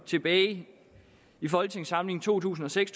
tilbage i folketingssamlingen to tusind og seks